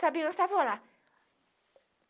Sabia que nós estávamos lá.